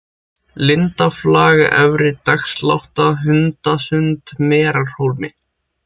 Lindarflag, Efri-Dagslátta, Hundasund, Merarhólmi